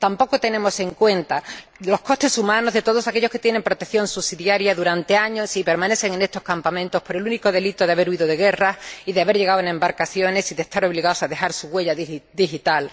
Tampoco tenemos en cuenta los costes humanos de todos aquellos que tienen protección subsidiaria durante años y permanecen en estos campamentos por el único delito de haber huido de guerras y de haber llegado en embarcaciones y de estar obligados a dejar su huella digital.